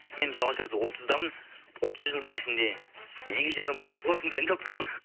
мен мысалға қазір отыздамын отыз жылдың ішінде екі жарым ай